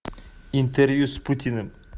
интервью с путиным